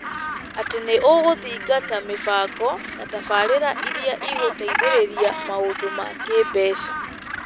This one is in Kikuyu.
Atĩ nĩ ũgũthingata mĩbango na tabarĩra iria igũteithĩrĩria maũndũ ma kĩĩmbeca.